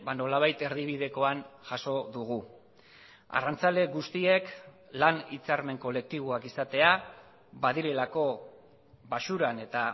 nolabait erdibidekoan jaso dugu arrantzale guztiek lan hitzarmen kolektiboak izatea badirelako baxuran eta